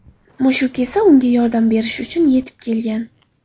Mushuk esa unga yordam berish uchun yetib kelgan.